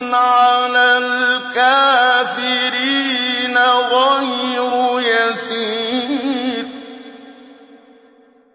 عَلَى الْكَافِرِينَ غَيْرُ يَسِيرٍ